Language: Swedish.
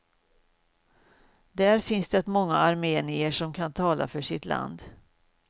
Där finns det många armenier som kan tala för sitt land.